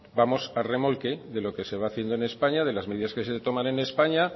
vamos a remolque de lo que se va haciendo en españa de las medidas que se toman en españa